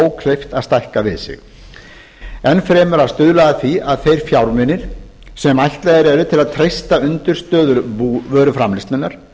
ókleift að stækka við sig enn fremur að stuðla að því að þeir fjármunir sem ætlaðir eru til að treysta undirstöður búvöruframleiðslunnar